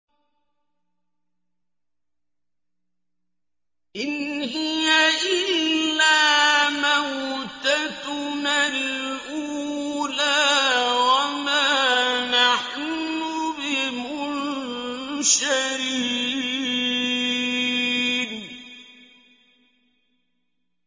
إِنْ هِيَ إِلَّا مَوْتَتُنَا الْأُولَىٰ وَمَا نَحْنُ بِمُنشَرِينَ